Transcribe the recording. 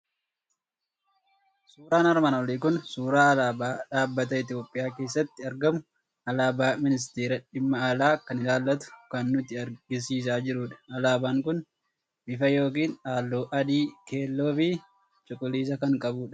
Suuraan armaan olii kun suuraa alaabaa dhaabbata Itoophiyaa keessatti argamuu, alaabaa ministeera Dhimma Alaa kan ilaallatu kan nutti argisiisaa jirudha. Alaabaan kun bifa yookiin halluu adii, keelloo, fi cuquliisa kan qabudha.